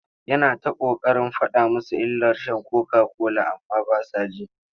Yana ta ƙoƙarin faɗa musu illar sha kokakola amma ba sa ji.